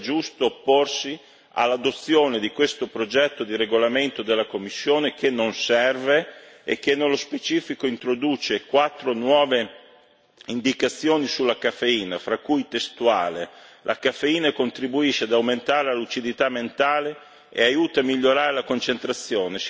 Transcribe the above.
Dunque è giusto opporsi all'adozione di questo progetto di regolamento della Commissione, che non serve e che, nello specifico, introduce quattro nuove indicazioni sulla caffeina, fra cui testuale la caffeina contribuisce ad aumentare la lucidità mentale e aiuta a migliorare la concentrazione.